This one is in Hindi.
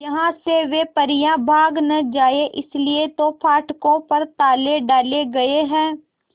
यहां से वे परियां भाग न जाएं इसलिए तो फाटकों पर ताले डाले गए हैं